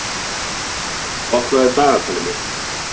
Tíbrá, opnaðu dagatalið mitt.